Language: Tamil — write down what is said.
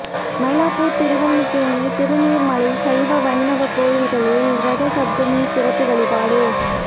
மயிலாப்பூர் திருவல்லிக்கேணி திருநீர்மலை சைவ வைணவ கோயில்களில் ரத சப்தமி சிறப்பு வழிபாடு